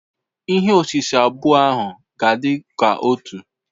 Ihe osise abụọ ahụ ga-adị ka otu.